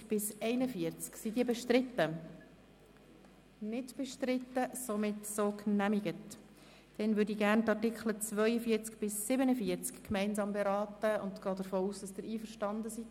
Ich würde gerne die Artikel 42 bis 47 gemeinsam beraten und gehe davon aus, dass der Rat damit einverstanden ist.